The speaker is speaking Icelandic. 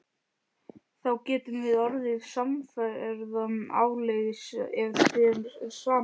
Þá getum við orðið samferða áleiðis ef þér er sama.